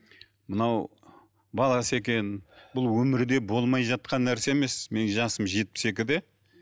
мынау баласы екен бұл өмірде болмай жатқан нәрсе емес менің жасым жетпіс екіде